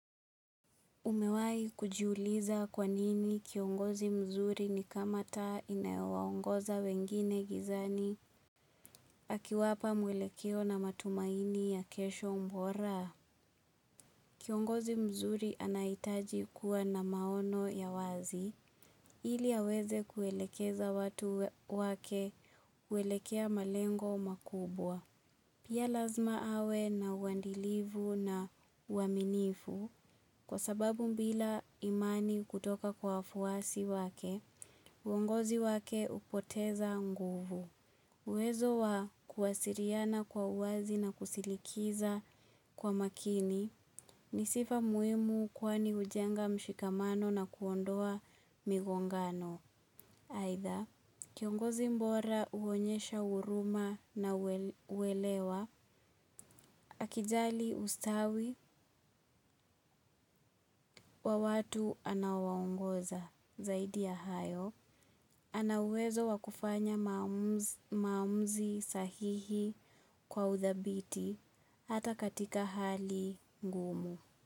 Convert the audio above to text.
Umewahi kujiuliza kwanini kiongozi mzuri ni kama taa inayowaongoza wengine gizani akiwapa mwelekeo na matumaini ya kesho bora. Kiongozi mzuri anahitaji kuwa na maono ya wazi ili aweze kuelekeza watu wake kuelekea malengo makubwa. Pia lazima awe na uandilifu na uaminifu kwa sababu bila imani kutoka kwa wafuwasi wake, uongozi wake upoteza nguvu. Uwezo wa kuwasiliana kwa uwazi na kusilikiza kwa makini ni sifa muhimu kwani hujenga mshikamano na kuondoa migongano. Aidha, kiongozi bora uonyesha huruma na uwelewa, akijali ustawi wa watu anawaongoza zaidi ya hayo, anauwezo wakufanya maumuzi sahihi kwa udhabiti hata katika hali ngumu.